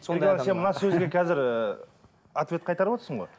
сен мына сөзге қазір ыыы ответ қайтарып отырсың ғой